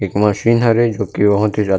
एक मशीन हरे जो की बहोत ही ज्यादा--